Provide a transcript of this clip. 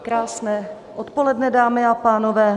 Krásné odpoledne, dámy a pánové.